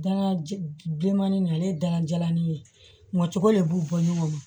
Dalajɛ bilenman ni ale ye dala jalanin ye ngɔtɔri de b'u bɔ ɲɔgɔn na